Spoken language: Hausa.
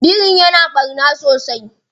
Birin ya na ɓarna sosai?